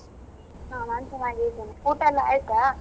ಹ ನಾನ್ ಚೆನ್ನಾಗಿದಿನ್ ಕಣೆ. ಊಟ ಎಲ್ಲಾ ಆಯ್ತಾ?